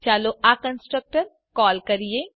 ચાલો આ constructor call કરીએ